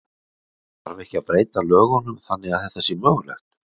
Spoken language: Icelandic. Þarf ekki að breyta lögunum þannig að þetta sé mögulegt?